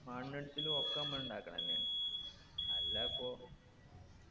മണ്ണിടിച്ചലു ഒക്കെ നമ്മളിണ്ടാക്കണ തന്നെയാണ് അല്ലാപ്പൊ